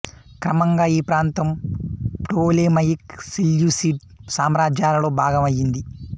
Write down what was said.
క్రమంగా ఈ ప్రాంతం ప్టోలెమయిక్ సెల్యూసిడ్ సామ్రాజ్యాలలో భాగం అయింది